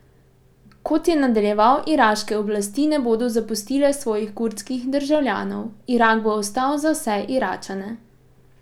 Kot je nadaljeval, iraške oblasti ne bodo zapustile svojih kurdskih državljanov: "Irak bo ostal za vse Iračane.